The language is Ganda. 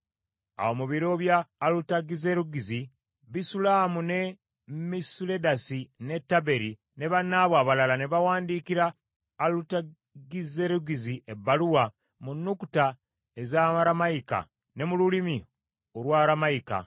Awo mu biro bya Alutagizerugizi, Bisulamu ne Misuledasi ne Tabeeri ne bannaabwe abalala ne bawandiikira Alutagizerugizi ebbaluwa mu nnukuta ez’Aramayika ne mu lulimi Olwaramayika.